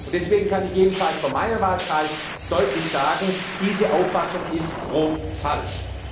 Deswegen kann ich jedenfalls von meinem Wahlkreis deutlich sagen Diese Auffassung ist grob falsch.